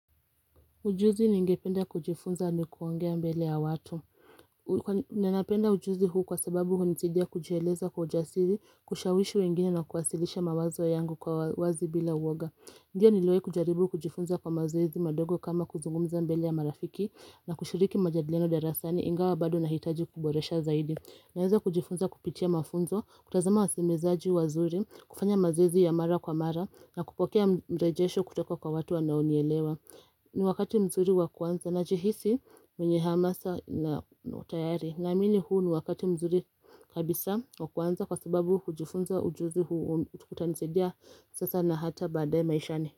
Ujuzi ni ngependa kujifunza ni kuongea mbele ya watu Nenapenda ujuzi huu kwa sababu huu nisidia kujieleza kwa ujasiri, kushawishi wengine na kuwasilisha mawazo yangu kwa wazi bila uoga Ndio niliwai kujaribu kujifunza kwa mazoezi madogo kama kuzungumza mbele ya marafiki na kushiriki majadilino derasani ingawa bado na hitaji kuboresha zaidi Naeza kujifunza kupitia mafunzo, kutazama wasemezaji wazuri, kufanya mazoezi ya mara kwa mara na kupokea mrejesho kutoka kwa watu wanaonielewa ni wakati mzuri wakuanza na jihisi mwenye hamasa na utayari Namini huu ni wakati mzuri kabisa wakuanza kwa sababu hujifunza ujuzi huu utkutanisedia sasa na hata badae maishani.